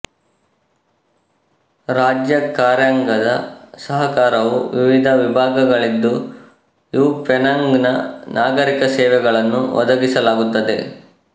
ರಾಜ್ಯ ಕಾರ್ಯಾಂಗದ ಸಹಕಾರವು ವಿವಿಧ ವಿಭಾಗಗಳಲ್ಲಿದ್ದು ಇವು ಪೆನಾಂಗ್ ನ ನಾಗರಿಕ ಸೇವೆಗಳನ್ನು ಒದಗಿಸಲಾಗುತ್ತದೆ